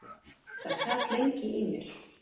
Það sat lengi í mér.